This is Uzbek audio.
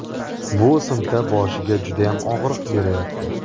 Bu o‘simta boshiga judayam og‘riq beryapti.